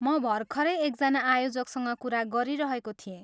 म भर्खरै एकजना आयोजकसँग कुरा गरिरहेको थिएँ।